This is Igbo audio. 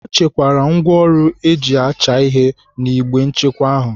Ọ chekwaara ngwaọrụ eji acha ihe n'igbe nchekwa ahụ.